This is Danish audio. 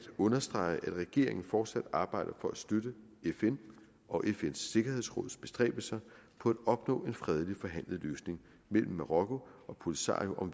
understrege at regeringen fortsat arbejder for at støtte fn og fns sikkerhedsråds bestræbelser på at opnå en fredeligt forhandlet løsning mellem marokko og polisario om